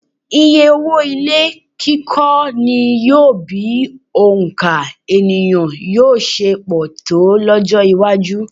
Iyé owó ilé kíkọ́ ni yóò bi òǹkà ènìyàn yóò ṣe pọ̀ tó lọ́jọ́-iwájú.